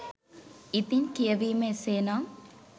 ඉතින් කියවීම එසේ නම්